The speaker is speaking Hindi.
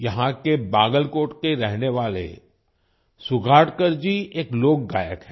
यहां के बागलकोट के रहने वाले सुगेतकर जी एक लोक गायक हैं